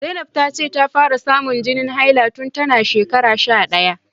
Zainab ta ce ta fara samun jinin haila tun tana shekara sha daya